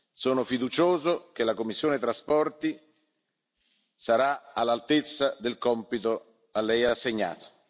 Sono fiducioso che la commissione TRAN sarà all'altezza del compito a lei assegnato.